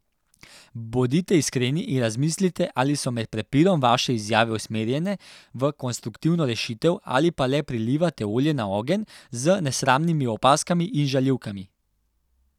Bodite iskreni in razmislite, ali so med prepirom vaše izjave usmerjene v konstruktivno rešitev ali pa le prilivate olje na ogenj z nesramnimi opazkami in žaljivkami.